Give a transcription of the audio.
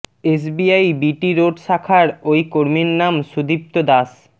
SBI BT road শাখার ওই কর্মীর নাম সুদীপ্ত দাশ